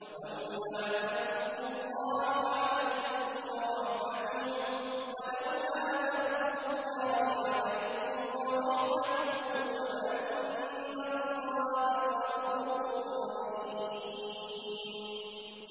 وَلَوْلَا فَضْلُ اللَّهِ عَلَيْكُمْ وَرَحْمَتُهُ وَأَنَّ اللَّهَ رَءُوفٌ رَّحِيمٌ